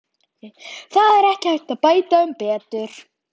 Það er ekki hægt að bæta um betur.